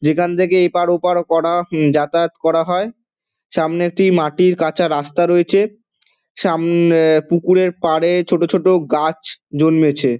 যেখান থেকে এপার ওপার করা উমঃ যাতায়াত করা হয়। সামনে একটি মাটির কাঁচা রাস্তা রয়েছে। সামনে পুকুরের পাড়ে ছোট ছোট গাছ জন্মেছে |